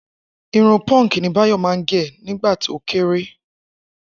Irun punk ni Báyọ̀ máa ń gẹ̀ nígbà tó kéré